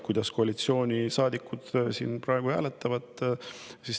Kuidas koalitsioonisaadikud siin praegu hääletavad, niimoodi see edasi läheb.